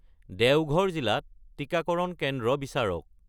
দেওঘৰ জিলাত টিকাকৰণ কেন্দ্ৰ বিচাৰক